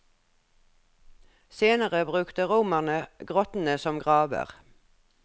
Senere brukte romerne grottene som graver.